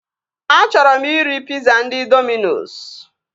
Achọrọ m iri piza ndị Dominos